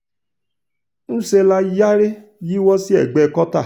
ńṣe la sáré yíwọ́ sí ẹ̀gbẹ́ kọ́ta